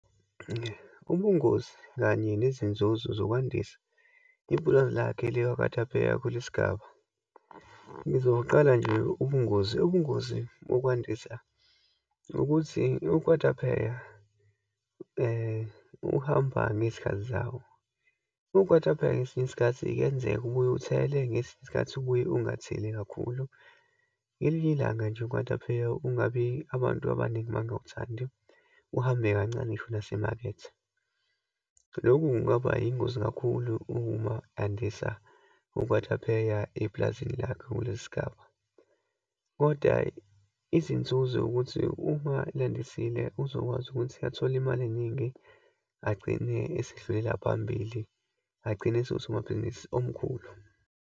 Ubungozi kanye nezinzuzo zokwandisa ipulazi lakhe likakwatapeya kulesigaba. Ngizoqala nje ubungozi. Ubungozi bokwandisa ukuthi, ukwatapeya uhamba ngezikhathi zawo. Ukwatapeya, ngesinye isikhathi kuyenzeka ubuye uthele, ngesinye isikhathi ubuye ungatheleli kakhulu. Ngelinye ilanga nje ukwatapeya, ungabi, abantu abaningi bangawuthandi, uhambe kancane ngisho nasemakethe. Lokhu kungaba yingozi kakhulu uma andisa ukwatapeya epulazini lakhe kulesi sigaba. Kodwa izinzuzo ukuthi uma elandisile uzokwazi ukuthi athole iyimali eyiningi, agcine esedlulela phambili, agcine esengusomabhizinisi omkhulu.